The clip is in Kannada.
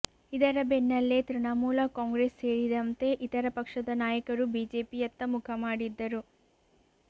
ಇದರ ಬೆನ್ನಲ್ಲೇ ತೃಣಮೂಲ ಕಾಂಗ್ರೆಸ್ ಸೇರಿದಂತೆ ಇತರ ಪಕ್ಷದ ನಾಯಕರು ಬಿಜೆಪಿಯತ್ತ ಮುಖ ಮಾಡಿದ್ದರು